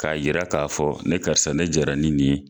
K'a yira k'a fɔ ne karisa ne jɛra ni nin ye.